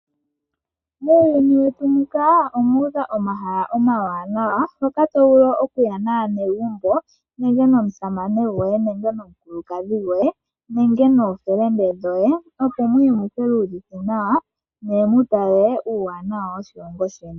Muuyuni wetu muka omuudha omahala omawanawa. Hoka tovulu okuya naanegumbo nenge nomusamane goye nenge nomukulukadhi goye. Nenge nookuume koye opo muye mu kiiyuvithe nawa ne mutale uuwanawa woshilongo sheni.